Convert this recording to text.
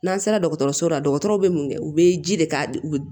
N'an sera dɔgɔtɔrɔso la dɔgɔtɔrɔw bɛ mun kɛ u bɛ ji de k'a